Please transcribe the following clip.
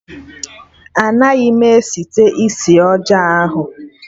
Anaghị m site isi ọjọọ ahụ